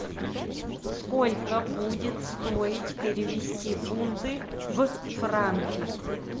сколько будет стоить перевести фунты в франки